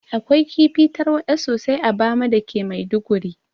Akwai kifi tarwaɗa sosai a bama dake maiduguri